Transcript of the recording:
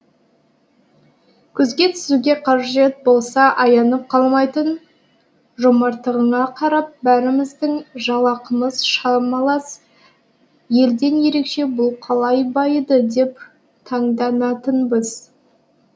көзге түсуге қажет болса аянып қалмайтын жомарттығына қарап бәріміздің жалақымыз шамалас елден ерекше бұл қалай байыды деп таңданатынбыз